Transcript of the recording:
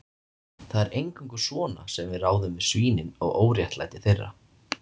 Það er eingöngu svona sem við ráðum við svínin og óréttlæti þeirra